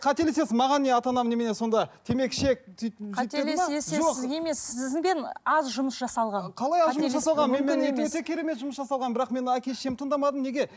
қателесің маған не ата анам немене сонда темекі шек сөйт сізбен аз жұмыс жасалған өте керемет жұмыс жасалған бірақ мен әке шешемді тыңдамадым неге